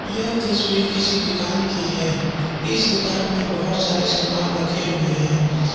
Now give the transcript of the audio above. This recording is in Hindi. यह तस्वीर किसी दुकान की है इस दुकान में बहुत सारे सामान रखे हुए हैं।